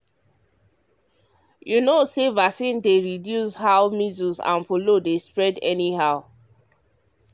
you know say vaccine dey reduce how measles and polio dey spread anyhow.